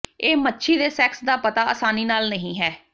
ਇਹ ਮੱਛੀ ਦੇ ਸੈਕਸ ਦਾ ਪਤਾ ਆਸਾਨੀ ਨਾਲ ਨਹੀ ਹੈ